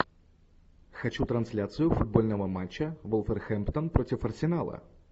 хочу трансляцию футбольного матча вулверхэмптон против арсенала